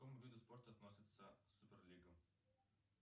к какому виду спорта относится суперлига